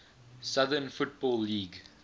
southern football league